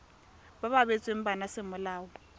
ba ba abetsweng bana semolao